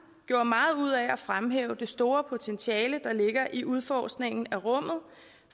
gjorde meget ud af at fremhæve det store potentiale der ligger i udforskningen af rummet